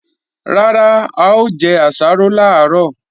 Rárá, a ò jẹ àsáró làárọ̀